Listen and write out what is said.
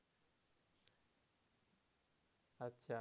আচ্ছা